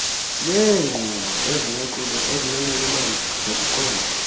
yeenkqubo ezinonxulumano nokuqonda